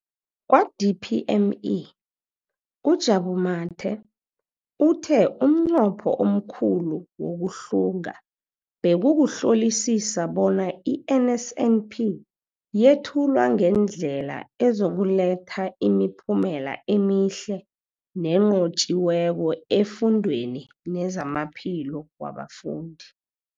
Kwa-DPME, uJabu Mathe, uthe umnqopho omkhulu wokuhlunga bekukuhlolisisa bona i-NSNP yethulwa ngendlela ezokuletha imiphumela emihle nenqotjhiweko efundweni nezamaphilo wabafundi.